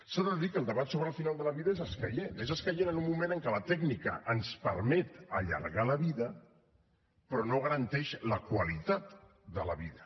s’ha de dir que el debat sobre el final de la vida és escaient és escaient en un moment en què la tècnica ens permet allargar la vida però no garanteix la qualitat de la vida